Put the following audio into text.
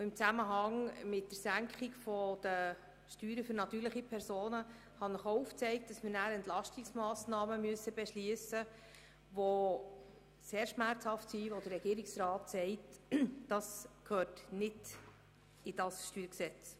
Im Zusammenhang mit den Steuersenkungen für die natürlichen Personen habe ich Ihnen auch aufgezeigt, dass wir dann Entlastungsmassnahmen beschliessen müssten, die sehr schmerzhaft wären und die gemäss Regierungsrat nicht ins StG gehören.